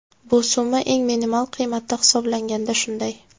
Bu summa eng minimal qiymatda hisoblaganda shunday.